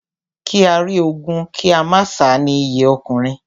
Kí á rí ogun kí a má sá ni iyì ọkùnrin.